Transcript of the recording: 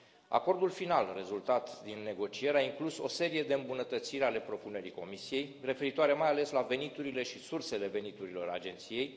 Acordul final rezultat din negocieri a inclus o serie de îmbunătățiri ale propunerii Comisiei referitoare, mai ales, la veniturile și sursele veniturilor agenției.